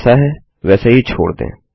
यह जैसा है वैसे ही छोड़ दें